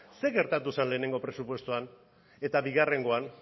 zer gertatu zen lehenengo presupuestoan eta bigarrengoan